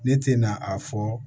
Ne tɛna a fɔ